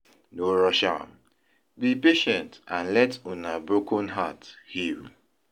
No rush am, be patient and let una broken heart heal.